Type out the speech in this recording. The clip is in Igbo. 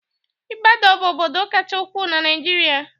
Ibador bụ obodo kacha ukwuu na Naịjirịa.